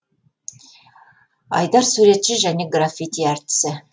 айдар суретші және граффити әртісі